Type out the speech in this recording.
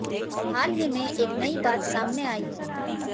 हाल ही में एक नयी बात सामने आयी है